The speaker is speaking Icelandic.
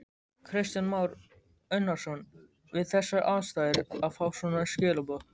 Kristján Már Unnarsson: Við þessar aðstæður að fá svona skilaboð?